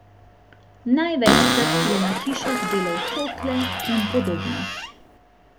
Največkrat je na hišah delal cokle in podobno.